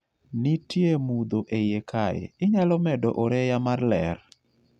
Nitie mudho eiye kae inyalo medo oreya mar ler